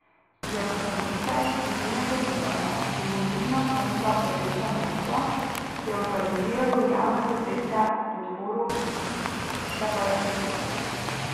Je ustanovitelj civilnega gibanja Domoljubna fronta Rdeča Moskva, ki je organiziralo javne proteste v podporo separatistom.